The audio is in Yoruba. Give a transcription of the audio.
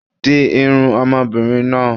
Di irun ọmọbìnrin náà.